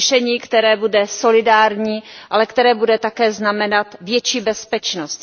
Řešení, které bude solidární, ale které bude také znamenat větší bezpečnost.